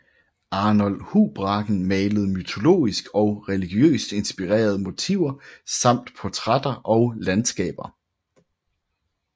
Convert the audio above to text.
Arnold Houbraken malede mytologisk og religiøst inspirerede motiver samt portrætter og landskaber